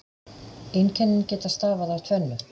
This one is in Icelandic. Einkennin geta stafað af tvennu.